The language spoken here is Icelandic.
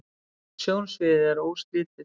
sjónsviðið er óslitið